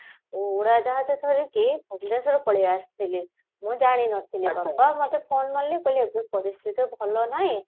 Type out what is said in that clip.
ଉଡାଜାହାଜ ଧରିକି ଭୁବନେଶ୍ଵର ପଳେଈ ଆସିଥିଲି ମୁ ଜାଣି ନଥିଲି ଏଥିପାଇଁ ମତେ phone ମାରିଲେ ଏବେ ପରିସ୍ଥିତି ଭଲ ନାହିଁ